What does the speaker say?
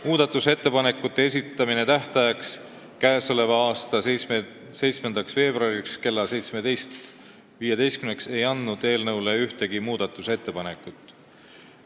Muudatusettepanekute esitamise tähtajaks, 7. veebruaril kella 17.15-ks, ei laekunud ühtegi muudatusettepanekut.